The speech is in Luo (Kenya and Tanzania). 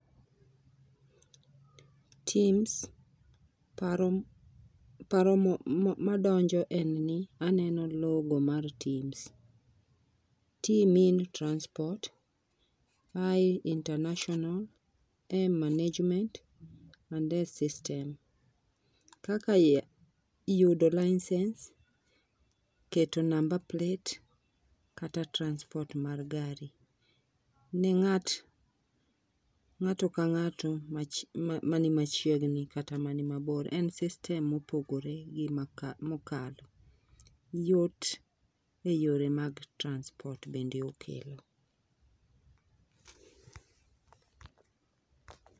Tims paro paro mo paro madonjo en ni aneno logo mar tims t mean transport I international m management and s system . Kaka iye yudo licence keto number plate, kata transport mar gari ne ng'at ng'ato ka ng'ato mani machiegni kata mani mabor en system mopogore gi mokalo , yot e yore mag transport bende okelo